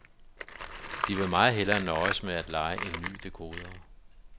De vil meget hellere nøjes med at leje en ny dekoder.